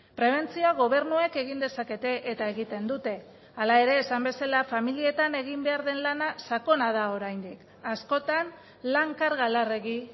prebentzioa gobernuek egin dezakete eta egiten dute hala ere esan bezala familietan egin behar den lana sakona da oraindik askotan lan karga larregi